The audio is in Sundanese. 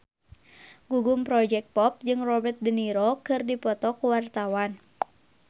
Gugum Project Pop jeung Robert de Niro keur dipoto ku wartawan